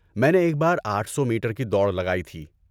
میں نے ایک بار آٹھ سو میٹر کی دوڑ لگائی تھی